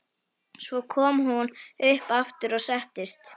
Svo kom hún upp aftur og settist.